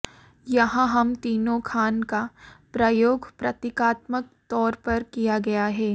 यहां हम तीनों खान का प्रयोग प्रतीकात्मक तौर पर किया गया है